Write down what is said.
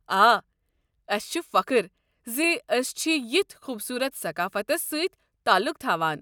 آ، اسہِ چھُ فخر زِ ٲسۍ چھِ یتھ خوبصوٗرت ثقافتَس سۭتۍ تعلُق تھوان۔